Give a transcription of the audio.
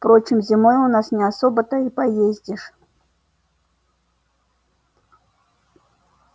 впрочем зимой у нас не особо-то и поездишь